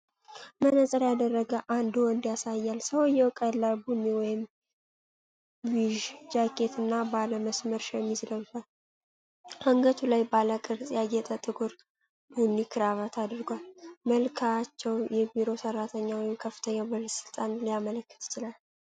መነፅር ያደረገ አንድ ወንድ ያሳያል። ሰውየው ቀላል ቡኒ ወይም ቢዥ ጃኬት እና ባለ መስመር ሸሚዝ ለብሷል። አንገቱ ላይ ባለ ቅርጽ ያጌጠ ጥቁር ቡኒ ክራባት አድርጓል። መልክዓቸው የቢሮ ሠራተኛ ወይም ከፍተኛ ባለሥልጣንን ሊያመለክት ይችላል።